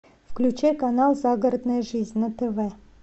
включай канал загородная жизнь на тв